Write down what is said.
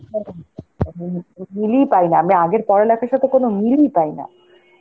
মিলই পাইনা, আমরা আগের পড়ালেখার সাথে কোন মিলই পাইনা.